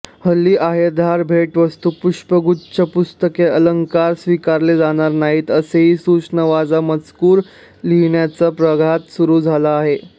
हल्ली आहेरधारभेटवस्तूपुष्पगुच्छपुस्तकेअलंकार स्वीकारले जाणार नाहीत असाही सूचनावजा मज़कूर लिहिण्याचा प्रघात सुरू झाला आहे